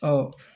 Ɔ